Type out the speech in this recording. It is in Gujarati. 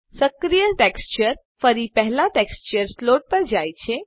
સક્રિય ટેક્સચર ફરી પહેલા ટેક્સચર સ્લોટ પર જાય છે